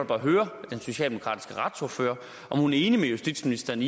bare høre den socialdemokratiske retsordfører om hun er enig med justitsministeren